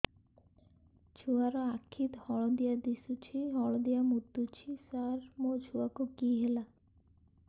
ଛୁଆ ର ଆଖି ହଳଦିଆ ଦିଶୁଛି ହଳଦିଆ ମୁତୁଛି ସାର ମୋ ଛୁଆକୁ କି ହେଲା